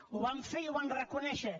ho van fer i ho van reconèixer